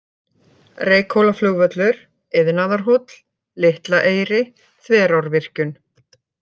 Reykhólaflugvöllur, Iðnaðarhóll, Litla Eyri, Þverárvirkjun